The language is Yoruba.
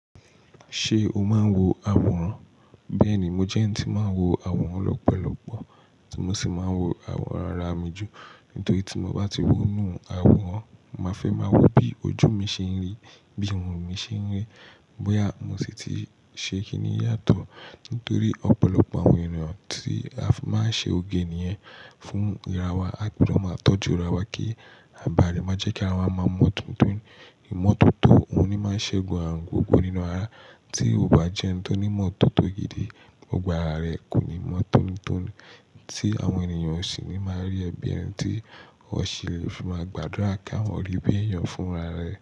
Ṣé o máa ń wo àwòrán? Bẹ́ẹ̀ni, mo jẹ́ ẹni tí máa ń wo àwòrán lọ́pọ̀lọpọ̀, ti mo sì máa ń wo àwòrán ara mi jù. Nítorí tí mo bá ti wo inú àwòrán, màá fẹ́ máa wo bí ojú mi ṣe ń rí, bí irun mi ṣe ń ri, bóyá mo sì ti ṣe kíní yàtọ̀. Nítorí ọ̀pọ̀lọpọ̀ àwọn ènìyàn tí a fi máa ń ṣe oge nìyẹn fún ìràwa, àbí ló máa ń tọ́jú ràwa kí àbàle má jẹ́ kí ara wa máa mọ̀ọ́ tótó. Ìmọ̀tótó òní máa ṣe gun àrùn gbogbo nínú ara. Tí o bá jẹ́ ẹni tó ní ìmọ̀tótó gidi, gbogbo ara rẹ kò ní mọ̀ọ́ tónítóní. Tí àwọn ènìyàn ò sì ní máa rí ẹ bí ẹni tí wọ́n ṣì lè fi máa gbàdúrà kí a wọ́n rí bí èèyàn fún ara rẹ̀